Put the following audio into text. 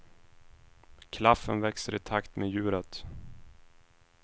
Klaffen växer i takt med djuret.